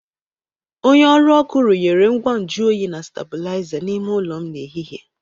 Onye ọrụ ọkụ runyere ngwa nju oyi na stabụlaiza n’ime ụlọ m n’ehihie.